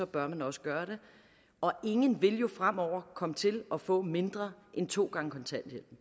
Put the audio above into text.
bør man også gøre det og ingen vil jo fremover komme til at få mindre end to gange kontanthjælp